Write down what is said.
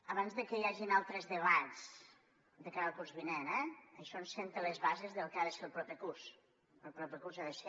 abans de que hi hagin altres debats de cara al curs vinent eh això ens assenta les bases del que ha de ser el proper curs el proper curs ha de ser